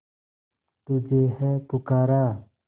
तुझे है पुकारा